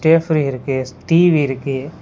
Stay free இருக்கு S TV இருக்கு.